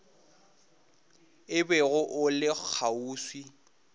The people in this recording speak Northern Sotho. o bego o le kgauswi